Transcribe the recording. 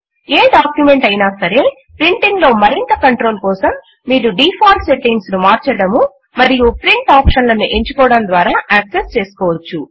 ఏ document అయినా సరే printing లో మరింత కంట్రోల్ కోసం మీరు డిఫాల్ట్ సెట్టింగ్స్ ను మార్చడము మరియు ప్రింట్ ఆప్షన్ లను ఎంచుకోవడము ద్వారా యాక్సెస్ చేసుకోవచ్చు